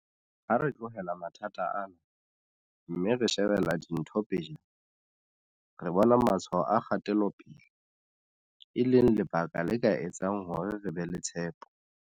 Ha re tlohela mathata ana, mme re shebela dintho pejana, re bona matshwao a kgatelo pele, e leng lebaka le ka etsang hore re be le tshepo.